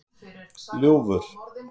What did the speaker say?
Ljúfur